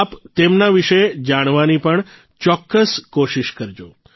આપ તેમના વિષે જાણવાની પણ ચોક્કસ કોશિશ કરજો